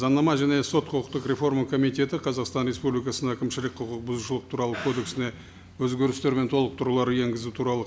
заңнама және сот құқықтық реформа комитеті қазақстан республикасының әкімшілік құқық бұзушылық туралы кодексіне өзгерістер мен толықтырулар енгізу туралы